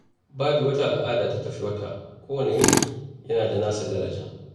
Babu wata al’ada da ta fi wata, kowane yanki yana da nasa daraja.